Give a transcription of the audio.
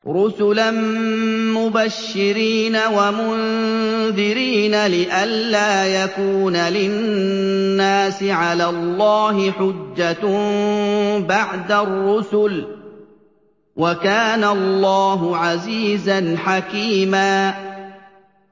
رُّسُلًا مُّبَشِّرِينَ وَمُنذِرِينَ لِئَلَّا يَكُونَ لِلنَّاسِ عَلَى اللَّهِ حُجَّةٌ بَعْدَ الرُّسُلِ ۚ وَكَانَ اللَّهُ عَزِيزًا حَكِيمًا